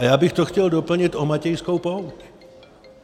A já bych to chtěl doplnit o Matějskou pouť.